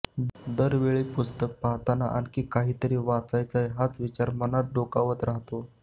दरवेळी पुस्तकं पाहाताना आणखी कितीतरी वाचायचंय हाच विचार मनात डोकावत राहातो